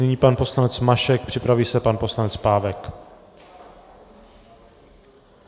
Nyní pan poslanec Mašek, připraví se pan poslanec Pávek.